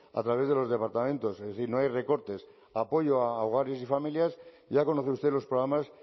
a través de los departamentos es decir no hay recortes apoyo a hogares y familias ya conoce usted los programas